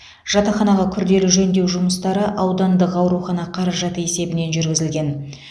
жатақханаға күрделі жөндеу жұмыстары аудандық аурхана қаражаты есебінен жүргізілген